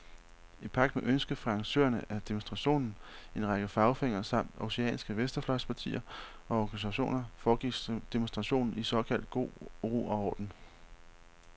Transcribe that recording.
I pagt med ønsket fra arrangørerne af demonstrationen, en række fagforeninger samt århusianske venstrefløjspartier og organisationer, foregik demonstrationen i såkaldt god ro og orden.